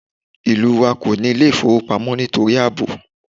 Ìlú wa kòní Ilé ìfowópamọ́ nítorí àbò